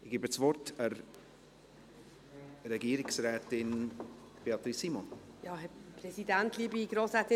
– Ich erteile Regierungsrätin Beatrice Simon das Wort.